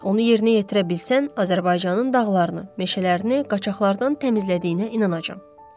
Onu yerinə yetirə bilsən, Azərbaycanın dağlarını, meşələrini qaçaqlardan təmizlədiyinə inanacağam.